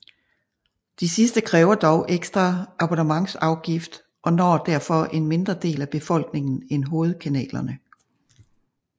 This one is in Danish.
De sidste kræver dog ekstra abonnementsafgift og når derfor en mindre del af befolkningen end hovedkanalerne